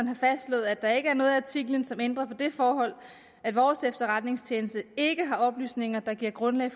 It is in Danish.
har fastslået at der ikke er noget i artiklen som ændrer på det forhold at vores efterretningstjeneste ikke har oplysninger der giver grundlag